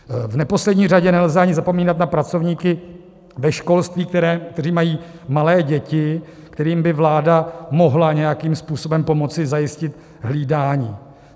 V neposlední řadě nelze ani zapomínat na pracovníky ve školství, kteří mají malé děti, kterým by vláda mohla nějakým způsobem pomoci zajistit hlídání.